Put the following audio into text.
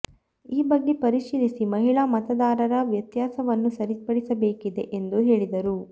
ಈ ಬಗ್ಗೆ ಪರಿಶೀಲಿಸಿ ಮಹಿಳಾ ಮತದಾ ರರ ವ್ಯತ್ಯಾಸವನ್ನು ಸರಿಪಡಿಸಬೇಕಿದೆ ಎಂದು ಹೇಳಿದರು